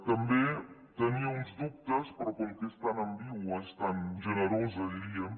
també tenia uns dubtes però com que és tan ambigua és tan generosa diríem